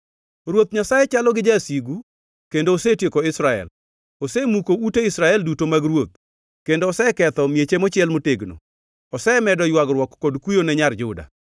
Ruoth Nyasaye chalo gi jasigu; kendo osetieko Israel! Osemuko ute Israel duto mag ruoth kendo oseketho mieche mochiel motegno. Osemedo ywagruok kod kuyo ne Nyar Juda.